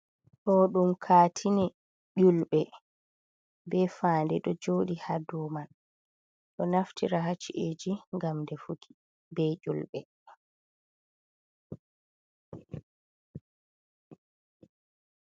Ɗo ɗum kaatini julbe. be fanɗe do jodi ha dow man. Brɗi do naftira ha ci’eji ngam ɗefuki be ƴulbe.